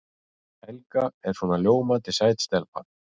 Helga svona ljómandi sæt stelpa.